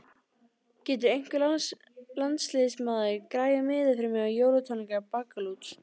Getur einhver landsliðsmaður græjað miða fyrir mig á jólatónleika Baggalúts?